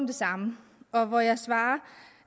det samme og jeg svarer